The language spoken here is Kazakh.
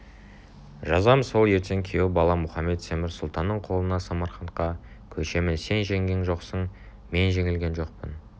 жазам сол ертең күйеу балам мұхамед-темір сұлтанның қолына самарқантқа көшемін сен жеңген жоқсың мен жеңілгем жоқпын